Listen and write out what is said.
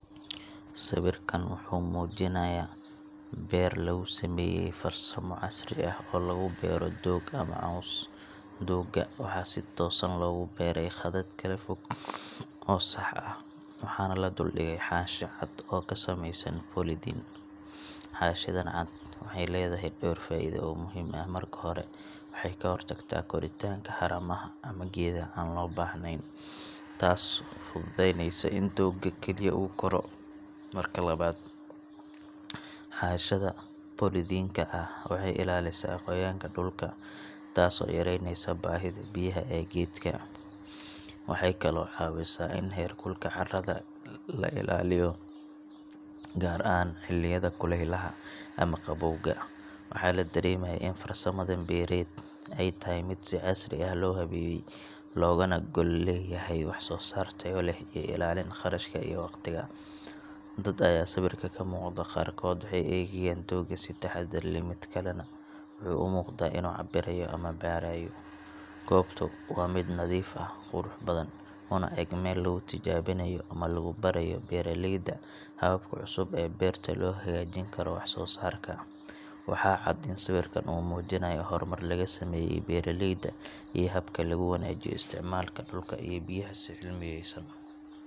Siwirkan wuxu mujinayah ber lagusameye farsamo casri ah oo lagubero doga ama coska, doga waxa sii tosan logubera qadad kalafog oo sax ah waxa nah laduldige xanshi caad oo kasameysan bolitin, xanshidan caad waxay ledahay dor faido oo muhim ah, marki hore waxay kahortagta koritanka xaramaha ama gedaha an loo bahnen, tas fududeyneysa inu doga keli ah koro marka labad xanshida bolitinka ah waxay ilalisa qoyanka dulka tasi oo yareyneisa bahida biyaha ee gedka, waxay kale oo cawisa ini herkulka carada laa ilaliyo gar ahan xiliyada kulelaha ama qawowga waxa ladaremaya in farsamada bered aay tahay sii casri ah lohabeye loganah gol leyahay sosarta uleh iyo ilalin qashka iyo waqtiga dad aya siwirka kamuqda qarkod waxay egayan toga sedaxad ila madkale nah umuqdo inu cabirayo gobtu waa mid nadif ah una eeg mil lagutijabinayo ama lagubarayo beraleyda, hababka cusub ee berta lohagajini karo wax sosarka waxa caad ini siwirkan mujinayoh hormar lagasameye beraleyda iyo habka laguwanajiyo istacmalka dulka ee biyaha sidhaa xumeyso.